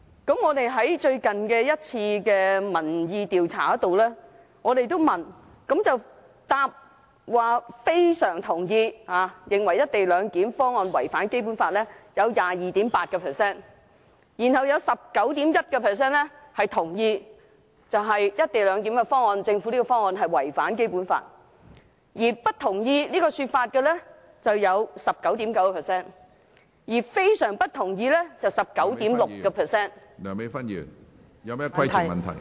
在我們最近一次的民意調查，回答"非常同意"，認為"一地兩檢"方案違反《基本法》的受訪者有 22.8%； 有 19.1% 同意政府"一地兩檢"方案違反《基本法》；不同意這說法的有 19.9%； 而非常不同意的有 19.6%......